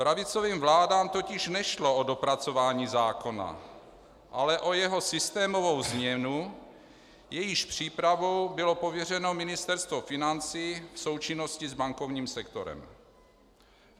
Pravicovým vládám totiž nešlo o dopracování zákona, ale o jeho systémovou změnu, jejíž přípravou bylo pověřeno Ministerstvo financí v součinnosti s bankovním sektorem.